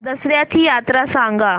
दसर्याची यात्रा सांगा